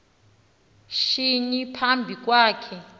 shinyi phambi kwakhe